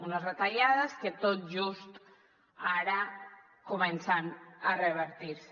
unes retallades que tot just ara comencen a revertir se